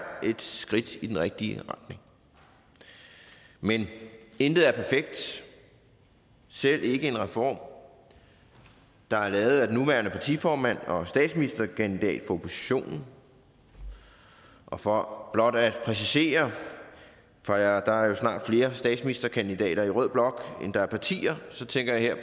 et skridt i den rigtige retning men intet er perfekt selv ikke en reform der er lavet af den nuværende partiformand og statsministerkandidat for oppositionen og for blot at præcisere for der er jo snart flere statsministerkandidater i rød blok end der er partier så tænker jeg